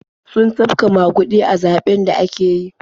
Sun tafka maguɗi a zaɓen da aka yi.